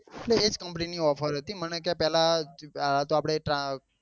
એટલે એજ company ની offer હતી મને કે પેલા એ તો આપડે તરા